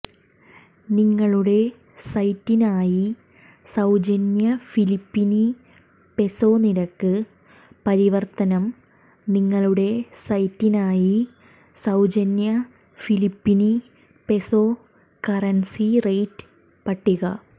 നിങ്ങളുടെ സൈറ്റിനായി സൌജന്യ ഫിലിപ്പീനി പെസോ നിരക്ക് പരിവർത്തനം നിങ്ങളുടെ സൈറ്റിനായി സൌജന്യ ഫിലിപ്പീനി പെസോ കറൻസി റേറ്റ് പട്ടിക